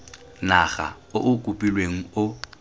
naga o o kopilweng o